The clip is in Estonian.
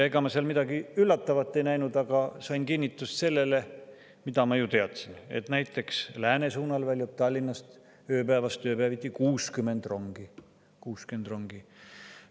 Ega ma seal midagi üllatavat ei näinud, aga sain kinnitust sellele, mida ma juba teadsin, et näiteks läänesuunal väljub Tallinnast ööpäevas tööpäeviti 60 rongi – 60 rongi!